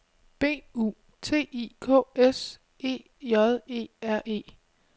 B U T I K S E J E R E